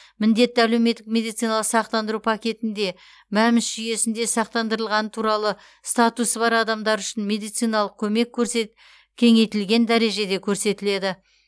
міндетті әлеуметтік медициналық сақтандыру пакетінде мәмс жүйесінде сақтандырылғаны туралы статусы бар адамдар үшін медициналық көмек көрсе кеңейтілген дәрежеде көрсетіледі